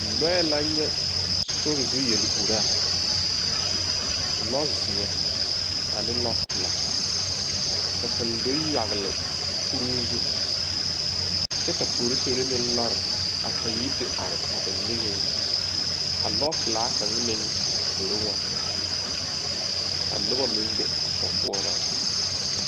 Lɔɛ la nyɛ sorizu yeluraa lɔzeɛ ane lɔpilaa ka kaŋ do yagle kuruu zu kyɛ ka poroseere meŋ lɔre a pang pɣpyi te are a ba niŋeŋ ka lɔpilaa kaŋa meŋ a zoro waana ka noba meŋ be a sokɔɔraa zu.